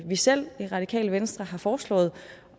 vi selv i radikale venstre har foreslået